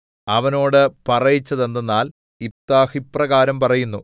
അവനോട് പറയിച്ചതെന്തെന്നാൽ യിഫ്താഹ് ഇപ്രകാരം പറയുന്നു